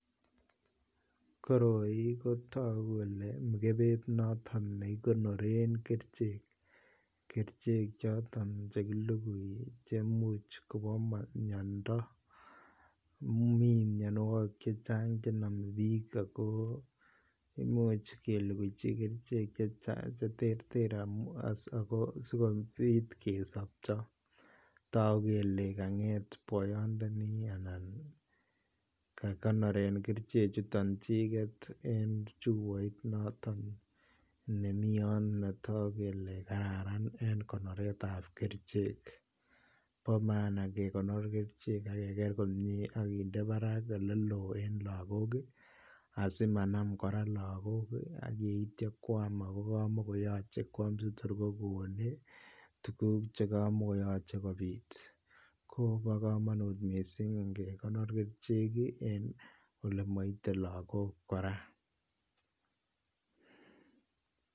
Koroi kotagu Kole ko mikebet noton nekikonoren kerchek choton chekilugui komuch Koba miando, mi mianwagik chechang chenamebik akobbimuc keluchi kerchek chechang cheterteren bsikobit kesabchob tagu kele kanget boyot ndani anan kekonoren kerchek chuton chiket en chebait noton nemiyon Kotaku Kole kararan mising en konoret ab kerchek bamaana kegonor kerchek ageger komie akinde Barak olelon olen lagok asimanam koraa lagok ayeityo koyam ako kamakiyache kwam sitor kokon tuguk chekamakiyache kobit kobakamut mising ngegonor kerchek en ole maite lagok koraa